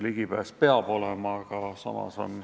Ligipääs internetile peab olema.